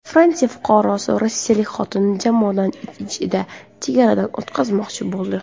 Fransiya fuqarosi rossiyalik xotinini jomadon ichida chegaradan o‘tkazmoqchi bo‘ldi.